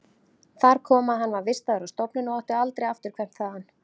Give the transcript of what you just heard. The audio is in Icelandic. Þar kom að hann var vistaður á stofnun og átti aldrei afturkvæmt þaðan.